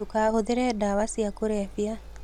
Ndũkahũthĩre dawa cia kũrebia